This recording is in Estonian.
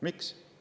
Miks?